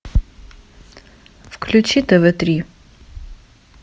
включи тв три